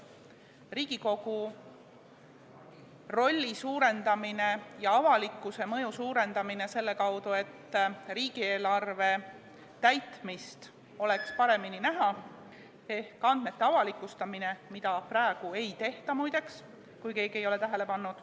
Riigikogu rolli ja avalikkuse mõju tuleks suurendada selle kaudu, et riigieelarve täitmine tehakse paremini nähtavaks ehk andmed avalikustatakse, mida praegu ei tehta, muideks, kui keegi ei ole tähele pannud.